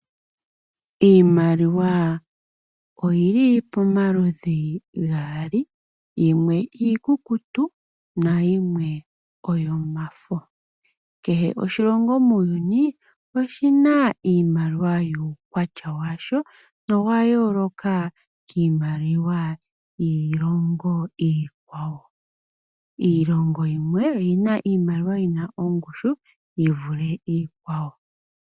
Iimaliwa oyili pomaludhi gaali, yimwe iikukutu nayimwe oyomafo. Kehe oshilongo muuyuni oshina iimaliwa yuukwatya washo noya yooloka kiimaliwa iikwawo. Iilongo yimwe oyina iimaliwa yina ongushu yi vule iikwawo.